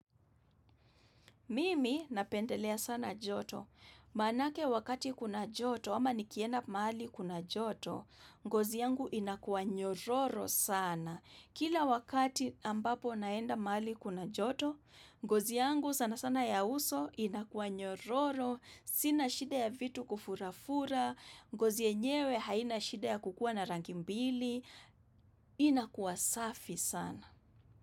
Mimi napendelea sana joto, manake wakati kuna joto ama nikienda mali kuna joto, ngozi yangu inakua nyororo sana. Kila wakati ambapo naenda mahari kuna joto, ngozi yangu sana sana ya uso inakua nyororo, sina shida ya vitu kufura-fura, ngozi yenyewe haina shida ya kukua na rangi mbili, inakua safi sana.